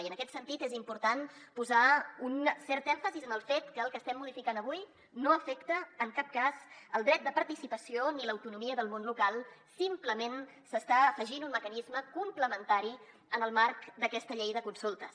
i en aquest sentit és important posar un cert èmfasi en el fet que el que estem modificant avui no afecta en cap cas el dret de participació ni l’autonomia del món local simplement s’està afegint un mecanisme complementari en el marc d’aquesta llei de consultes